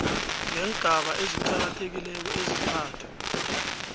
ngeengaba eziqakathekileko ezintathu